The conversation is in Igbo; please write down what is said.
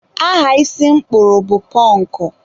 aha isi m kpụrụ bụ pọnkụ.